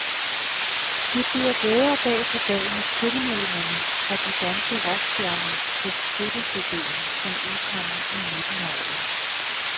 Det bliver bedre dag for dag med tilmeldingerne fra de danske rockstjerner til støttecden, som udkommer i midten af året.